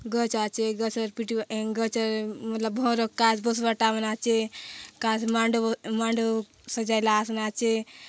गछ आचे गछेर पिटु एं गछे म मतलब भर काच् बसबाटार माने आचे काच मांडब ए मांड सजैला आस्ना आचे।